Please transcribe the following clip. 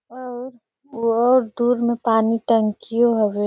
और अऊ दूर मे पानी टंकी हवय।